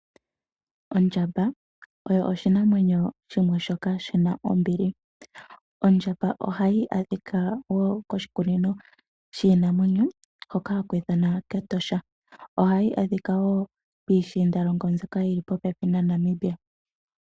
Ondjamba oyo oshinamwenyo shimwe shoka shina ombili. Ondjamba oha yi adhika woo koshikunino shiinamwenyo , hoka haku ithanwa kEtosha. Ohayi adhika woo piishindalongo mbyoka yili popepi naNamibia.